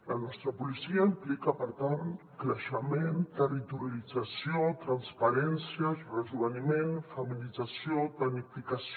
la nostra policia implica per tant creixement territorialització transparència rejoveniment feminització tecnificació